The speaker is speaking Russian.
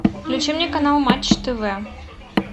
включи мне канал матч тв